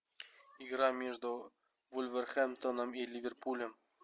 игра между вулверхэмптоном и ливерпулем